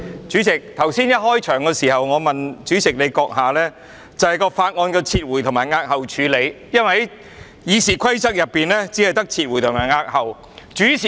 主席，在會議開始時，我曾詢問主席閣下有關法案的撤回和押後處理，因為《議事規則》只訂明撤回和押後的選項。